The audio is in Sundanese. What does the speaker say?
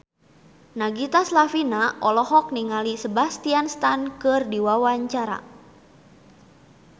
Nagita Slavina olohok ningali Sebastian Stan keur diwawancara